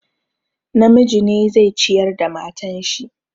Namiji ne zai ciyar da matan shi.